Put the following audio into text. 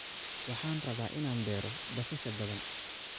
Waxaan rabaa inaan beero basasha badan